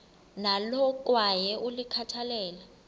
nalo kwaye ulikhathalele